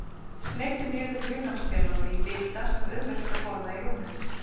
Sneiddu niður hunangsmelónu í bita sem auðvelt er að borða í rúminu.